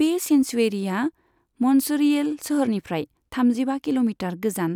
बे सेंसुवेरिया म'न्छ'रियेल सोहोरनिफ्राय थामजिबा किल'मिटार गोजान